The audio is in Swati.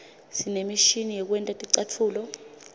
sinemishini yekwenta ticatfulo